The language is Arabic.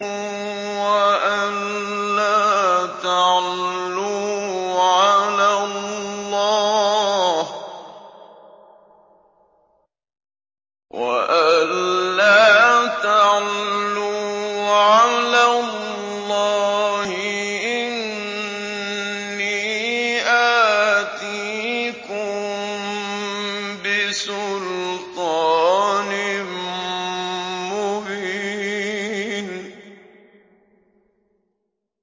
وَأَن لَّا تَعْلُوا عَلَى اللَّهِ ۖ إِنِّي آتِيكُم بِسُلْطَانٍ مُّبِينٍ